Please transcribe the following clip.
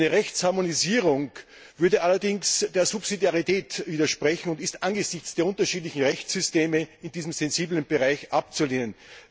Eine Rechtsharmonisierung würde allerdings der Subsidiarität widersprechen und ist angesichts der unterschiedlichen Rechtssysteme in diesem sensiblen Bereich abzulehnen.